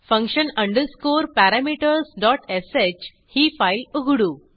function underscore parametersश ही file उघडू